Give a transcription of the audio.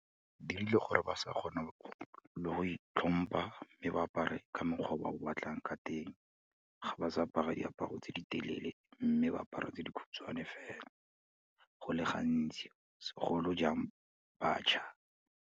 Dirile gore ba sa kgona le go itlhompha, mme ba apare ka mokgwa o ba o batlang ka teng. Ga ba sa apara diaparo tse di telele, mme ba apara tse dikhutshwane fela, go le gantsi segolojang batjha.